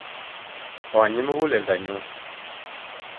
Konyi muguleldanyun